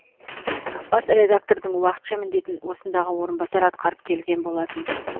бас редактордың уақытша міндетін осындағы орынбасар атқарып келген болатын